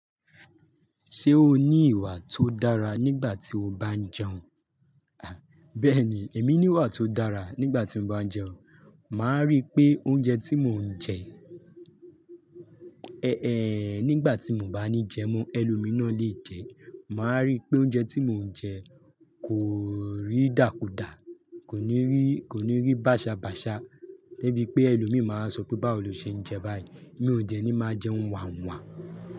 Ṣé o ní ìwà tó dára nígbà tí o bá ń jẹun? Bẹ́ẹ̀ni, èmi ní ìwà tó dára nígbà tí mo bá ń jẹun. Màá rí pé oúnjẹ tí mò ń jẹ-- ẹẹ́, nígbà tí mo bá ní jẹun mọ́ ẹlòmíìná lè jẹ, màá rí pé oúnjẹ tí mò ń jẹ kò rí dàkúdà, kò ní rí, kò ní rí bàṣàbàṣà. Gẹ́gẹ́ bí pé ẹlòmíì máa sọ pé "báwo lo ṣe ń jẹ báyìí?" Mi ò jẹ ní máa jẹ ǹwàǹwà.